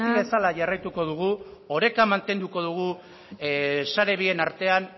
bezala jarraituko dugu oreka mantenduko dugu sare bien artean